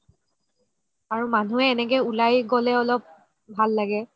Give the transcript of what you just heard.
আৰু মানুহে এনেকে উলাই গ'লে অলপ ভাল লাগে